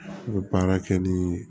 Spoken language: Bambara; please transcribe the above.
I bɛ baara kɛ ni